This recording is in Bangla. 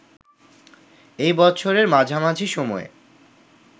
এই বছরের মাঝামাঝি সময়ে